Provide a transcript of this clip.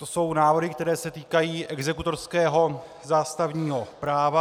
To jsou návrhy, které se týkají exekutorského zástavního práva.